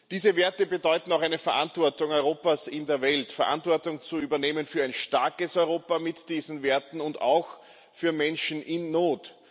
Diese Werte bedeuten auch eine Verantwortung Europas in der Welt, bedeuten, Verantwortung zu übernehmen für ein starkes Europa mit diesen Werten und auch für Menschen in Not.